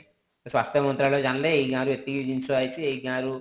ସ୍ୱାସ୍ଥ୍ୟ ମନ୍ତ୍ରାଳୟ ଜାଣିଲେ ଏଇ ଗାଁ ରୁ ଏତିକି ଜିନିଷ ଆସିଛି ଏଇ ଗାଁ ରୁ